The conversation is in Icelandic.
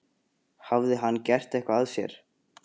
Hafði hann gert eitthvað af sér?